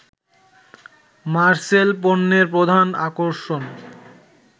মারসেল পণ্যের প্রধান আকর্ষণ